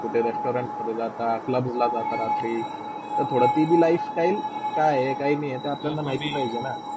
कुठे resorant मधे जातात CLUB ला जातात रात्री, थोडी तिभी lifestyle काय काहिनाही हे आपल्याला माहिती पाहिजेना.